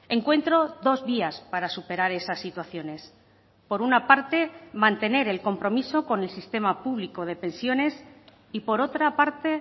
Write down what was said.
encuentro dos días para superar esas situaciones por una parte mantener el compromiso con el sistema público de pensiones y por otra parte